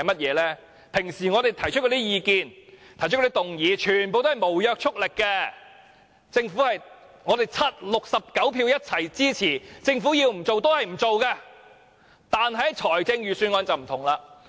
我們日常提出的意見和議案全皆沒有約束力，即使69票一致支持，如果政府堅持不從，我們也沒有辦法。